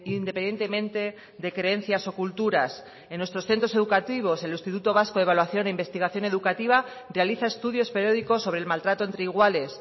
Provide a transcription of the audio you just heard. independientemente de creencias o culturas en nuestros centros educativos el instituto vasco de evaluación e investigación educativa realiza estudios periódicos sobre el maltrato entre iguales